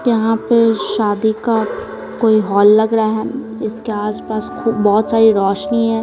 यहां पर शादी का कोई हॉल लग रहा है इसके आसपास बहुत सारी रोशनी है।